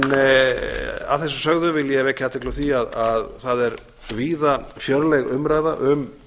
að þessu sögðu vil ég vekja athygli á því að það er víða fjörleg umræða um